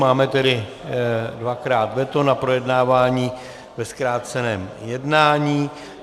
Máme tedy dvakrát veto na projednávání ve zkráceném jednání.